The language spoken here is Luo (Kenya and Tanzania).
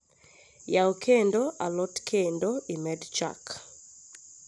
yau kendo a lot kendo imed chak